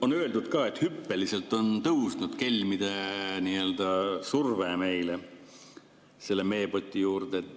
On öeldud ka, et hüppeliselt on tõusnud kelmide nii-öelda surve meile, selle meepoti juurde.